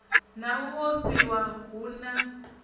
na u ofhiwa hu na